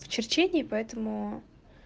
в черчении поэтому